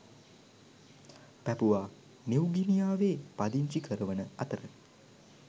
පැපුවා නිව්ගිනියාවේ පදිංචි කරවන අතර